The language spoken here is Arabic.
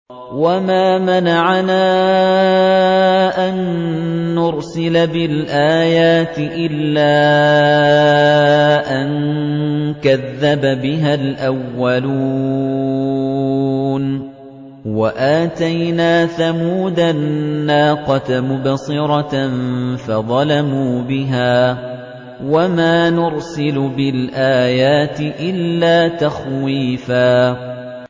وَمَا مَنَعَنَا أَن نُّرْسِلَ بِالْآيَاتِ إِلَّا أَن كَذَّبَ بِهَا الْأَوَّلُونَ ۚ وَآتَيْنَا ثَمُودَ النَّاقَةَ مُبْصِرَةً فَظَلَمُوا بِهَا ۚ وَمَا نُرْسِلُ بِالْآيَاتِ إِلَّا تَخْوِيفًا